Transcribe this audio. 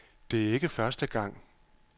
Det er ikke første gang.